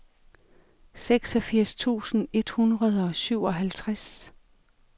seksogfirs tusind et hundrede og syvoghalvtreds